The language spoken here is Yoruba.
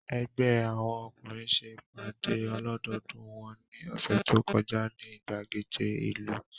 Ẹgbẹ́ àwọn ọkùnrin ṣe ìpàdé ọlọ́dọọdú wọn ní ọ̀sẹ̀ tó kọjá ní ìgbàgede ìlú